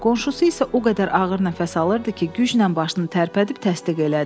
Qonşusu isə o qədər ağır nəfəs alırdı ki, güclə başını tərpədib təsdiq elədi.